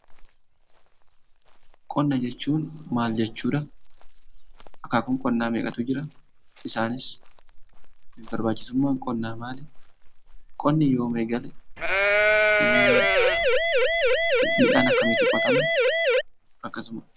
Qonna jechuun maal jechuudha? Akaakuun qonnaa meeqatu jira? Isaanis barbaachisummaan qonnaa maali? Qonni yoom eegale? Midhaan akkamiitu qotama?